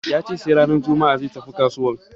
Ya ce sai ranar juma'a zai tafi kasuwan.